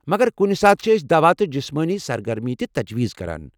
مگر کُنہِ ساتہٕ چھ أسۍ دوا تہٕ جسمٲنی سرگرمی تہ تجویز کران۔